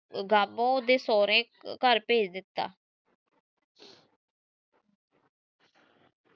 ਬਾਬੋ ਦੇ ਸੋਹਰੇ ਘਰ ਭੇਜ ਦਿਤਾ।